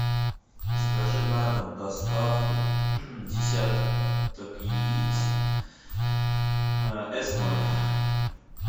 закажи на дом доставку десяток яиц эс ноль